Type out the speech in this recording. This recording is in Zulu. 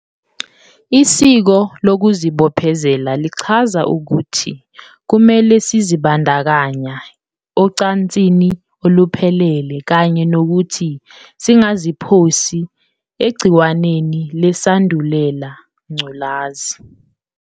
Isiko lokuzibophezela lichaza ukuthi kumele sizibandakanya ocansini oluphephile kanye nokuthi singaziphosi egciwaneni leSandulela Ngculazi.